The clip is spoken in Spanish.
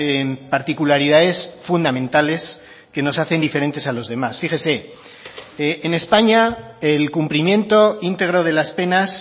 en particularidades fundamentales que nos hacen diferentes a los demás fíjese en españa el cumplimiento íntegro de las penas